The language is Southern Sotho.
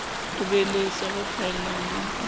ho beleswa ho phaellang ho